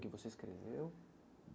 Que você escreveu.